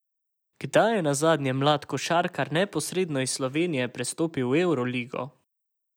Kdaj je nazadnje mlad košarkar neposredno iz Slovenije prestopil v Evroligo?